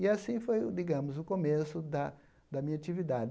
E assim foi o, digamos, o começo da da minha atividade.